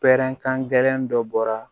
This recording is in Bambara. Pɛrɛnkan gɛlɛn dɔ bɔra